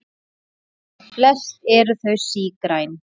Flest eru þau sígræn.